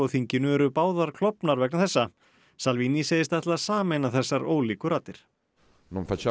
þinginu eru báðar klofnar vegna þessa salvini segist ætla að sameina þessar ólíku raddir